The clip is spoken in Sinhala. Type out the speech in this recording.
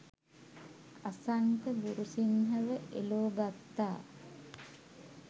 අසන්ක ගුරුසින්හ ව එලෝ ගත්තා